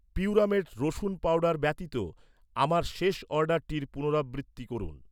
পিউরামেট রসুন পাউডার ব্যতীত, আমার শেষ অর্ডারটির পুনরাবৃত্তি করুন।